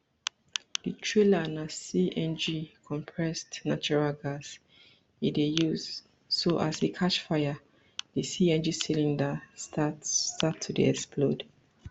di trailer na cng compressed natural gas e dey use so as e catch fire di cng cylinders start start to dey explode